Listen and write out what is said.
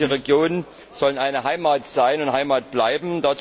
Unsere ländlichen Regionen sollen eine Heimat sein und Heimat bleiben.